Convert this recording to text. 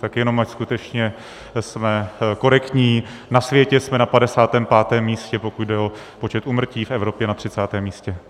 Tak jenom ať skutečně jsme korektní, na světě jsme na 55. místě, pokud jde o počet úmrtí v Evropě na 30. místě.